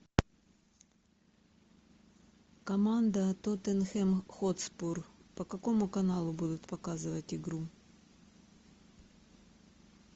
команда тоттенхэм хотспур по какому каналу будут показывать игру